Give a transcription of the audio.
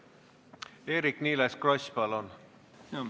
Eerik-Niiles Kross, palun!